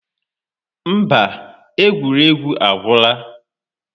Mba, egwuregwu agwụla.